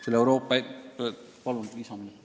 Palun lisaminuteid!